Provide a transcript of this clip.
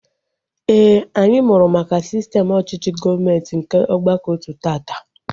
Éè, anyị mụrụ maka sistem ọchịchị gọọmenti nke ọgbakọotu taata